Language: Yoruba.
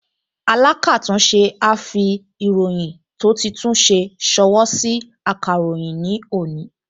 Alákàtúnṣe á fi ìròyìn tó ti tún ṣe ṣọwọ́ sí akọ̀ròyìn ní òní